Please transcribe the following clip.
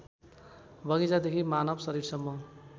बगैंचादेखि मानव शरीरसम्म